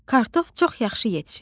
Kartof çox yaxşı yetişib.